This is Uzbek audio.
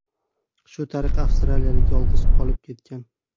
Shu tariqa avstraliyalik yolg‘iz qolib ketgan.